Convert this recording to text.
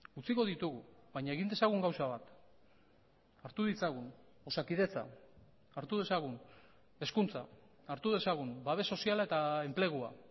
utziko ditugu baina egin dezagun gauza bat hartu ditzagun osakidetza hartu dezagun hezkuntza hartu dezagun babes soziala eta enplegua